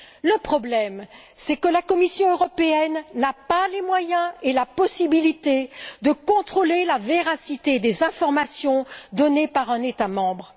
Le problème est que la Commission européenne n'a pas les moyens ni la possibilité de contrôler la véracité des informations données par un État membre.